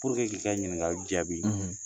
k'i ka ɲininkali jaabi